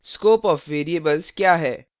scope of variables क्या है